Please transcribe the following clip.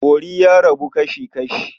Bori ya rabu kasi-kashi.